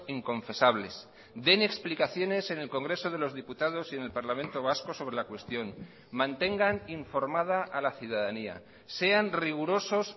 inconfesables den explicaciones en el congreso de los diputados y en el parlamento vasco sobre la cuestión mantengan informada a la ciudadanía sean rigurosos